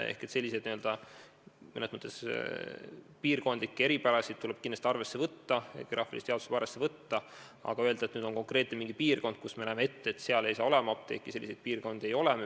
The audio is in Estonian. Selliseid mõnes mõttes piirkondlikke eripärasid tuleb kindlasti arvesse võtta, geograafilist jaotust tuleb arvesse võtta, aga öelda, et selles konkreetses piirkonnas me näeme ette, et seal apteeki olema ei saa – selliseid piirkondi ei ole.